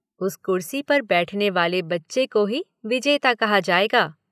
उस कुर्सी पर बैठने वाले बच्चे को ही विजेता कहा जाएगा